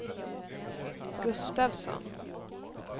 Gustavsson